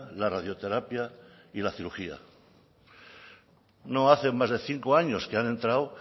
la radioterapia y la cirugía no hace más de cinco años que ha entrado